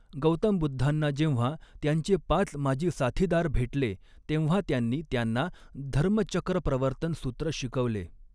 गौतम बुद्धांना जेव्हा त्यांचे पाच माजी साथीदार भेटले तेव्हा त्यांनी त्यांना धर्मचक्रप्रवर्तन सूत्र शिकविले.